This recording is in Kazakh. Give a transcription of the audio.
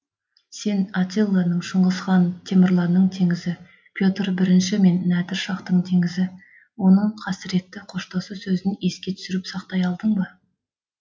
сен аттиланың шыңғыс хан темірланның теңізі петр бірінші мен нәдір шаһтың теңізі оның қасіретті қоштасу сөзін еске түсіріп сақтай алдың ба